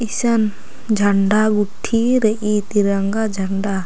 ईसन झंड़ गूट्ठी रइई तिरंगा झंडा ---